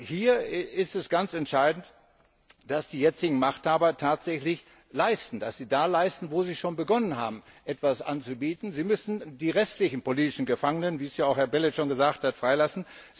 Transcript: Hier ist es ganz entscheidend, dass die jetzigen Machthaber tatsächlich leisten, dass sie da leisten, wo sie schon begonnen haben, etwas anzubieten. Sie müssen die restlichen politischen Gefangenen wie es auch Herr Belet schon gesagt hat freilassen.